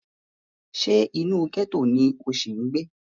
Ṣé inú gẹ́tò ni o ṣì ń gbé?